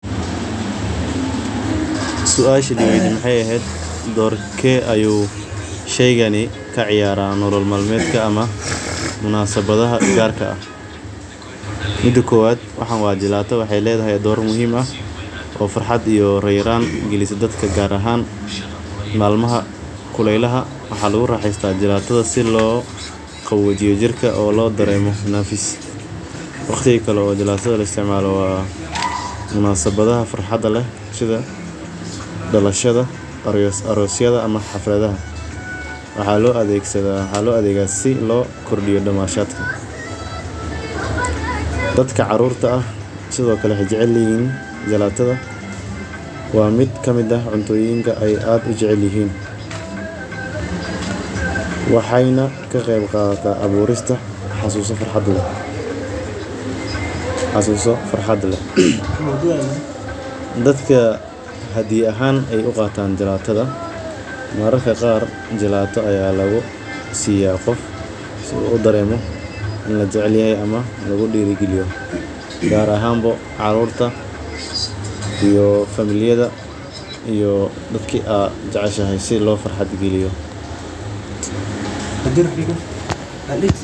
Suasha li weydiye maxee ehed dorke ayu sheygani ka ciyara nolol mal medka munasabadhaha gar ka ah mida kowad waxan waa jalato waxee ledhahay dor muhiim ah oo farxad iyo deran galiso dadka gar ahan malmaha kulelaha maxaa lagu raxesta jalatadha si u jirka udaremo nafis waqtiga kale oo jalatadha laisticmalo maxaa waye waqtiga arosyada xafladaha waxaa lo adhega si lo kordiyo damashada waa mid kamiid ah cuntoyinka aad ee u jecelyihin waxena ka qeb qadata aburista xasuso farxad leh dadka hadiyad ahan ayey u qatan jalato gar ahan bo carurta iyo familiyada iya oo si lo farxad galiyo daman todha.